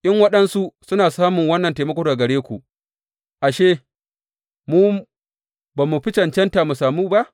In waɗansu suna samun wannan taimako daga gare ku, ashe, mu ba mu fi cancanta mu samu ba?